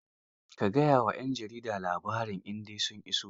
Ka gayawa 'yan jaridar labarin idan sun iso.